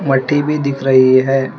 मट्टी भी दिख रही है।